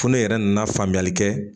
Fo ne yɛrɛ nana faamuyali kɛ